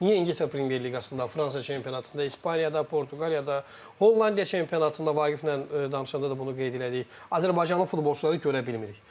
Niyə İngiltərə Premyer Liqasında, Fransa çempionatında, İspaniyada, Portuqaliyada, Hollandiya çempionatında Vaqiflə danışanda da bunu qeyd elədik, Azərbaycanın futbolçuları görə bilmirik.